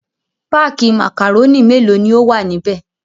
Páákì màkàrónì mélòó ni ó wà níbẹ̀?